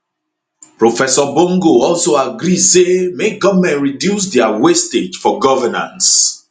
professor bongo also agree say make goment reduce dia wastage for governance